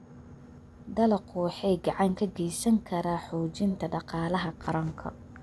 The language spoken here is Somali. Dalaggu wuxuu gacan ka geysan karaa xoojinta dhaqaalaha qaranka.